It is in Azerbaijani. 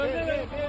Allaha qurban olum.